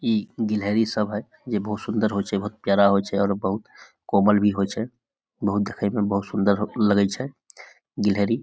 इ गिलहरी सब है जे बहुत सुन्दर होय छै बहुत प्यारा होय छै और बहुत कोमल भी होय छै बहुत देखे मे बहुत सुन्दर हो लगय छै गिलहरी --